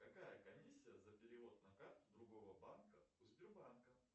какая комиссия за перевод на карту другого банка у сбербанка